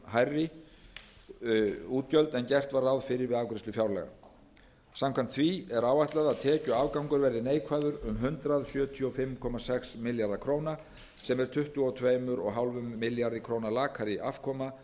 hærri útgjöld en gert var ráð fyrir við afgreiðslu fjárlaga samkvæmt því er áætlað að tekjuafgangur verði neikvæður um hundrað sjötíu og fimm komma sex milljarða króna sem er tuttugu og tvö og hálfum milljarði króna lakari afkoma en